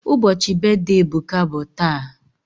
Ubochi brithday Ebuka bu taa